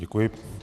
Děkuji.